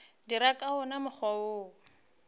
dira ka wona mokgwa wo